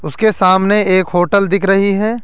उसके सामने एक होटल दिख रही है।